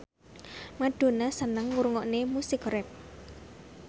Madonna seneng ngrungokne musik rap